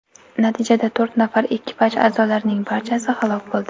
Natijada to‘rt nafar ekipaj a’zolarining barchasi halok bo‘ldi.